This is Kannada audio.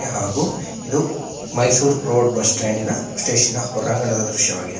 ಹಾಗೂ ಇದು ಓ ಮೈಸೂರ್ ರೋಡ್ ಹೊರಾಂಗಣದ ದೃಶವಾಗಿದೆ.